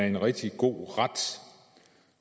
en rigtig god ret